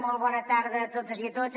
molt bona tarda a totes i a tots